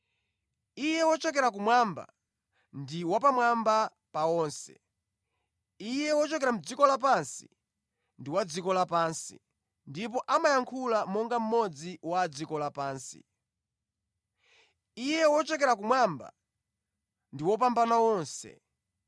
“Iye wochokera kumwamba ndi wapamwamba pa onse: iye wochokera mʼdziko lapansi ndi wa dziko lapansi, ndipo amayankhula monga mmodzi wa adziko lapansi. Iye wochokera kumwamba ndi wopambana onse.